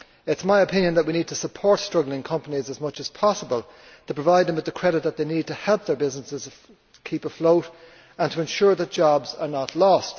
It is my opinion that we need to support struggling companies as much as possible to provide them with the credit they need to keep their businesses afloat and to ensure that jobs are not lost.